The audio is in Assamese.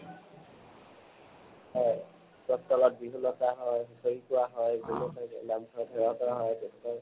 হয়, গছৰ তলত বিহু নচা হয়, হুঁচৰি গোৱা হয়, বিভিন্ন থাইত নামঘৰত সেৱা কৰা হয়, তেনেকে